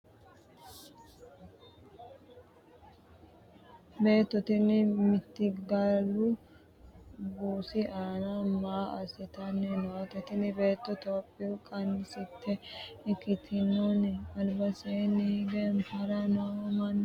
beetto tini mittigalu buusi aana maa assitanni noote? tini beetto topiyu qansitte ikkitinoni? albaseenni hige haranni noo manni me''eho? beetto tini maa uddidhino?